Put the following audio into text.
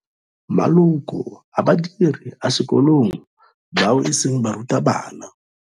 Maloko a badiri a sekolong bao e seng barutabana.